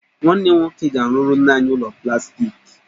Nwanne m nwoke ga-arụrụ nne anyị ụlọ plastiki